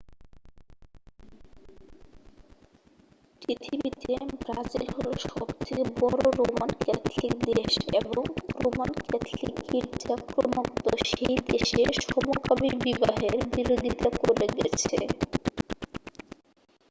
পৃথিবীতে ব্রাজিল হল সবথেকে বড় রোমান ক্যাথলিক দেশ এবং রোমান ক্যাথলিক গির্জা ক্রমাগত সেই দেশে সমকামী বিবাহের বিরোধিতা করে গেছে